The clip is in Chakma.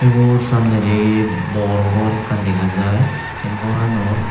wo samnedi bor gor ekkan dega jaai te goranot.